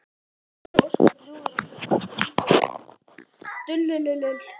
Pabbi þótti ósköp ljúfur og kurteis drengur en dulur.